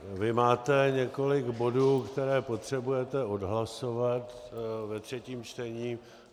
Vy máte několik bodů, které potřebujete odhlasovat ve třetím čtení.